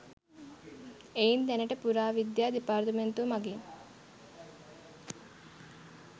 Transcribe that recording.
එයින් දැනට පුරා විද්‍යා දෙපාර්තමේන්තුව මඟින්